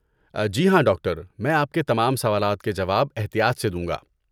جی ہاں، ڈاکٹر! میں آپ کے تمام سوالات کے جواب احتیاط سے دوں گا۔